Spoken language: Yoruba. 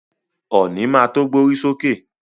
Ọ̀nì má to gbórí sókè.